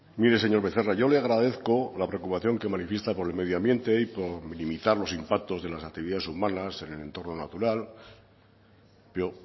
mire señor becerra yo le agradezco la preocupación que manifiesta con el medio ambiente y con limitar los impactos de las actividades humanas en el entorno natural pero